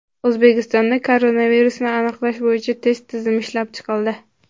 O‘zbekistonda koronavirusni aniqlash bo‘yicha test tizimi ishlab chiqildi.